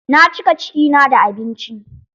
Na cika ciki na da abinci.